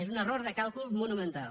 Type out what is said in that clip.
és un error de càlcul monumental